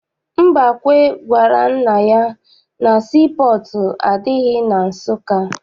Mbakwe gwara nna ya na sii pọọtụ adịghị na Nsụka.